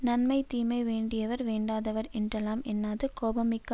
நன்மை தீமை வேண்டியவர் வேண்டாதார் என்றெல்லாம் எண்ணாது கோபம் மிக்க